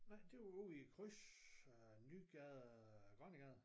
Nej det var ude i kryds øh Nygade og Grønnegade